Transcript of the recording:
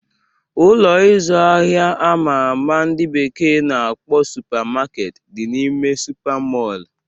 Ụlọ ịzụ ahịa ama ama ndị bekee na-akpọ Supa Maketi dị n'ime Supa Mọl